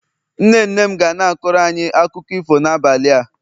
nne nne m ga na-akọrọ anyi akụkọ ifo n'abalị a